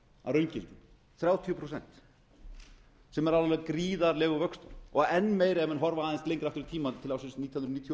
raungildi þrjátíu prósent sem er alveg gríðarlegur vöxtur og enn meiri ef menn horfa aðeins lengra aftur tímann til ársins nítján hundruð níutíu